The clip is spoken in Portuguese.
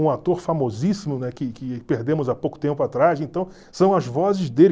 um ator famosíssimo daqui que perdemos há pouco tempo atrás, então são as vozes dele.